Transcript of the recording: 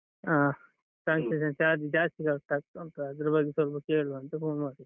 ಹ್ಮ್ transaction charges ಜಾಸ್ತಿ cut ಆಗ್ತಾ ಉಂಟು ಅದ್ರ ಬಗ್ಗೆ ಸ್ವಲ್ಪ ಕೇಳುವ ಅಂತ phone ಮಾಡಿದ್ದು.